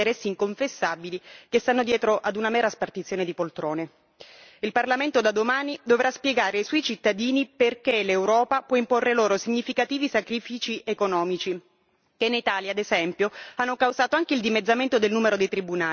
Il Parlamento da domani dovrà spiegare ai suoi cittadini perché l'Europa può imporre loro significativi sacrifici economici, che in Italia ad esempio hanno causato anche il dimezzamento del numero dei tribunali, mentre poi la stessa Europa decide di raddoppiare il numero dei giudici del suo tribunale.